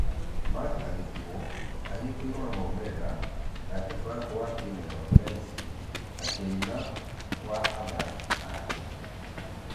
Mark agĩtigwo ahiokeirio nĩ maumerera, nake frank wa timũ ya wepesi akĩina ....wa athaki ake